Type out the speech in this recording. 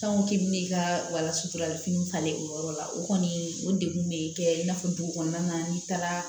k'i bɛ n'i ka wala suturala fini talen o yɔrɔ la o kɔni o degun bɛ kɛ i n'a fɔ dugu kɔnɔna na n'i taara